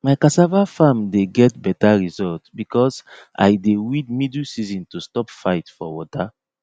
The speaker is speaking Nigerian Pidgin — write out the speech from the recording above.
my cassava farm dey get better result because i dey weed middle season to stop fight for water